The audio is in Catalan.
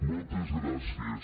moltes gràcies